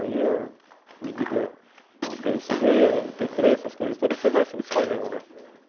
Aí a medida... veio cê dê, eme pê três, essas coisas todas, você vai se desfazendo, né?